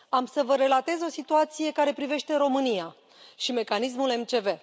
Vă voi relata o situație care privește România și mecanismul MCV.